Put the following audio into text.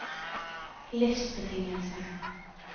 livsbetingelser